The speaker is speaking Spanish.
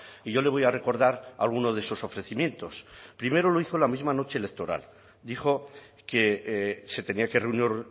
y yo le voy a recordar algunos de esos ofrecimientos primero lo hizo la misma noche electoral dijo que se tenía que reunir